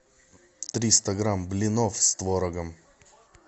триста грамм блинов с творогом